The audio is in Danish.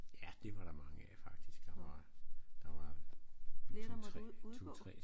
Ja det var der mange af faktisk der var der var 2 3 2 3